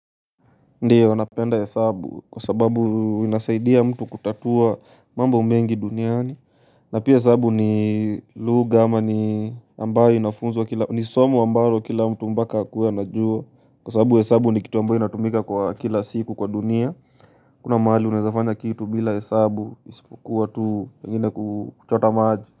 Ndio napenda hesabu kwa sababu inasaidia mtu kutatua mambo mengi duniani na pia hesabu ni lugha ama ni ambayo inafunzwo, ni somo ambayo kila mtu mpaka akuwe anajua Kwa sababu hesabu ni kitu ambayo inatumika kwa kila siku kwa dunia hakuna mahali unaezafanya kitu bila hesabu isipokuwa tu pengine kuchota maji.